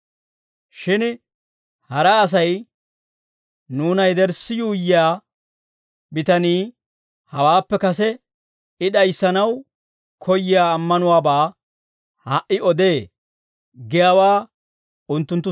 Shin hara asay, «Nuuna yederssi yuuyyiyaa bitanii hawaappe kase I d'ayissanaw koyyiyaa ammanuwaabaa ha"i odee» giyaawaa unttunttu